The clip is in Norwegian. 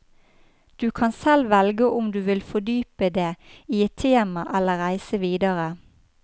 Du kan selv velge om du vil fordype det i ett tema eller reise videre.